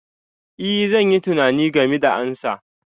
Ee, zan yi tunani game da amsa.